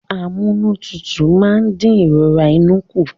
Amúnútutù máa ń dín ìrora inú kù